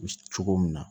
Cogo min na